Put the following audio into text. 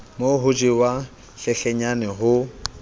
mo ho jewang hlenhlenyane ho